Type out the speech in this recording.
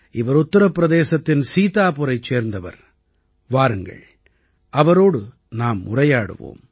இவர் உத்திர பிரதேசத்தின் சீதாபூரைச் சேர்ந்தவர் வாருங்கள் அவரோடு நாம் உரையாடுவோம்